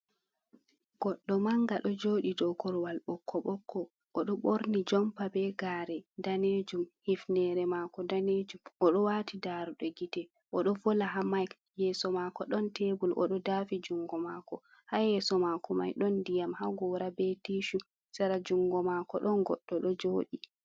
Goddo manga do jodi do korwal ɓokko ɓokko, o ɗo ɓorni jompa be gare danejum, hifnere mako danejum, o ɗo wati daruɗe gite, o ɗo vola ha mic, yeso mako ɗon tebul o ɗo dafi jungo mako, ha yeso mako mai ɗon ndiyam ha goora, be tishu, sera jungo mako ɗon goɗɗo ɗo joɗi.